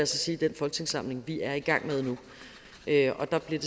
sige den folketingssamling vi er i gang med nu og der bliver